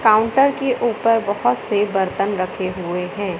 Counter के ऊपर बहोत से बर्तन रखे हुए हैं।